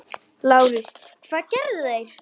LÁRUS: Hvað gerðu þeir?